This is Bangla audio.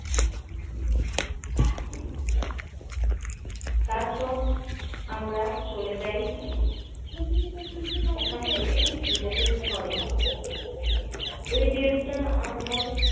তারপর আমরা চলে যাই ওখান থেকে নিজেদের ঘরে। ওই দিনটা আমরা